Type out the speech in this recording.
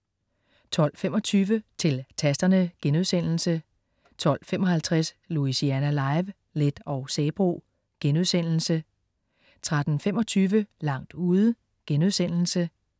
12.25 Til Tasterne* 12.55 Louisiana Live: Leth og Sabroe* 13.25 Langt ude*